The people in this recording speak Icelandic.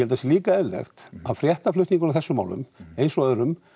það sé líka eðlilegt að fréttaflutningurinn á þessum málum eins og öðrum